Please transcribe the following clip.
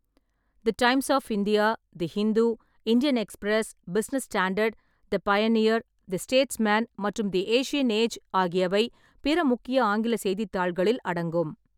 The Times of India, the Hindu, Indian Express, Business Standard, the Pioneer, the Statesman மற்றும் the Asian Age ஆகியவை பிற முக்கிய ஆங்கில செய்தித்தாள்களில் அடங்கும்.